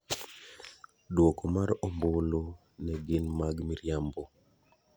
Duoko mar ombulu ne gin mag mirimabo.